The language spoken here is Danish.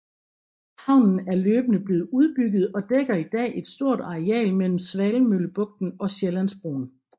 Havnen er løbende blevet udbygget og dækker i dag et stort areal mellem Svanemøllebugten og Sjællandsbroen